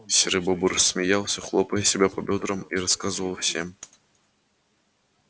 серый бобр смеялся хлопая себя по бёдрам и рассказывал всем